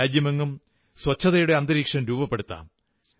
രാജ്യമെങ്ങും ശുചിത്വത്തിന്റെ അന്തരീക്ഷം രൂപപ്പെടുത്താം